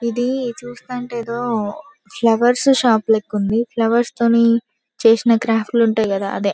ఇది చూస్తంటే ఎదో ఫ్లవర్ షాప్ లెక్క ఉంది ఫ్లవర్ తోని చేసి నట్టుగ ఉంటుంది కదా అదే మనం--